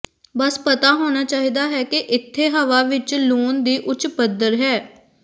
ਬਸ ਪਤਾ ਹੋਣਾ ਚਾਹੀਦਾ ਹੈ ਕਿ ਇੱਥੇ ਹਵਾ ਵਿਚ ਲੂਣ ਦੀ ਉੱਚ ਪੱਧਰ ਹੈ